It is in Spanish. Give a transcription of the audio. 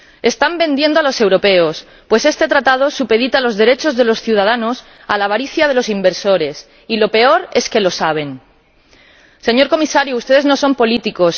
Están vendiendo a los europeos, pues este Acuerdo supedita los derechos de los ciudadanos a la avaricia de los inversores, y lo peor es que lo saben. Señor Comisario, ustedes no son políticos.